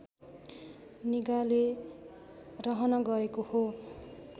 निगाले रहन गएको हो